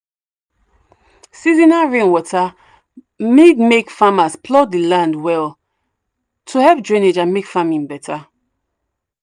seasonal rainwater need make farmers plough the land well to help drainage and make farming better.